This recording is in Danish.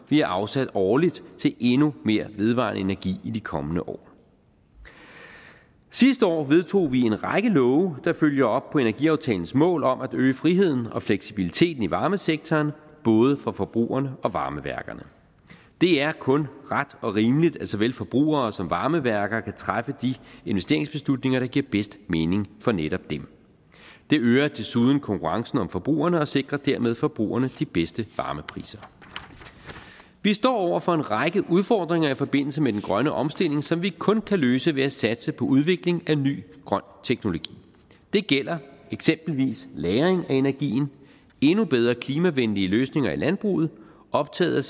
vi har afsat årligt til endnu mere vedvarende energi i de kommende år sidste år vedtog vi en række love der følger op på energiaftalens mål om at øge friheden og fleksibiliteten i varmesektoren både for forbrugerne og varmeværkerne det er kun ret og rimeligt at såvel forbrugere som varmeværker kan træffe de investeringsbeslutninger der giver bedst mening for netop dem det øger desuden konkurrencen om forbrugerne og sikrer dermed forbrugerne de bedste varmepriser vi står over for en række udfordringer i forbindelse med den grønne omstilling som vi kun kan løse ved at satse på udvikling af ny grøn teknologi det gælder eksempelvis lagring af energien endnu bedre klimavenlige løsninger i landbruget optaget